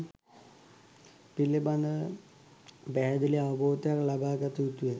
පිළිබඳව පැහැදිලි අවබෝධයක් ලබාගතයුතුය.